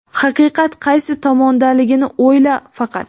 haqiqat qaysi tomondaligini o‘yla faqat.